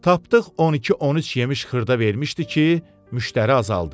Tapdıq 12-13 yemiş xırda vermişdi ki, müştəri azaldı.